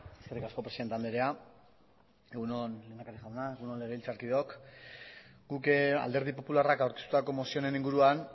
eskerrik asko presidente andrea egun on lehendakari jauna egun on legebiltzarkideok guk alderdi popularrak aurkeztutako mozioaren inguruan